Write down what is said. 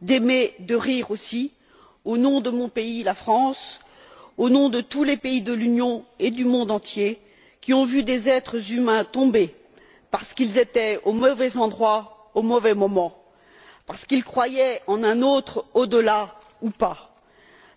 d'aimer et de rire, au nom de mon pays, la France, au nom de tous les pays de l'Union européenne et du monde entier qui ont vu des êtres humains tomber parce qu'ils étaient au mauvais endroit, au mauvais moment, parce qu'ils croyaient en un autre au delà ou pas,